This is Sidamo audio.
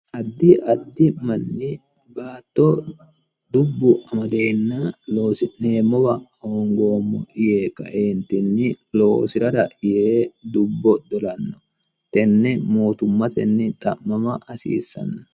addi addi manni baatto dubbu amadeenna loosi'neemmowa hoongoommo yee kaeentinni loosi'rara yee dubbo dolanno tenne mootummatenni xa'mama hasiissanno